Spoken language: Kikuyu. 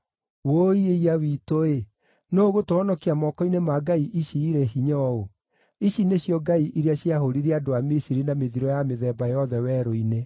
Wũi-ĩiya-witũ-ĩ! Nũũ ũgũtũhonokia moko-inĩ ma ngai ici irĩ hinya ũũ? Ici nĩcio ngai iria ciahũũrire andũ a Misiri na mĩthiro ya mĩthemba yothe werũ-inĩ.